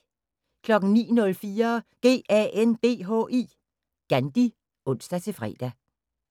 09:04: GANDHI (ons-fre)